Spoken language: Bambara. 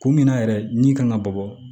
Kun min na yɛrɛ min kan ka bɔ